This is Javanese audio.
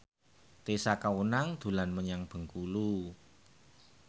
Tessa Kaunang dolan menyang Bengkulu